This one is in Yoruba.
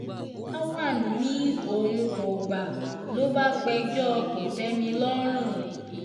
lawan ni òun kò gbà lọ bá pẹjọ́ kò-tẹ́-mi-lọ́rùn